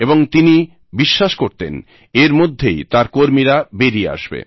এবং তিনি বিশ্বাস করতেন এর মধ্যেই তাঁর কর্মীরা বেরিয়ে আসবে